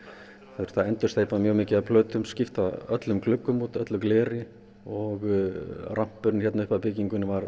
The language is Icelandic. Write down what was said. þurfti að endursteypa mjög mikið af plötum skipta öllum gluggum út öllu gleri og rampurinn hérna upp að byggingunni var